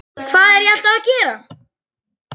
Hvað er ég alltaf að gera?